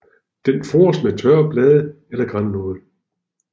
Den fores med tørre blade eller grannåle